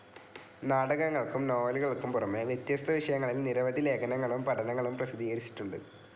നാടകങ്ങൾക്കും നോവലുകൾക്കും പുറമെ വ്യത്യസ്ത വിഷയങ്ങളിൽ നിരവധി ലേഖനങ്ങളും പഠനങ്ങളും പ്രസിദ്ധീകരിച്ചിട്ടുണ്ട്.